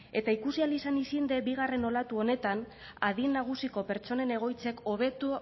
eta ikusi ahal izan izen det bigarren olatu honetan adin nagusiko pertsonen egoitzek hobetu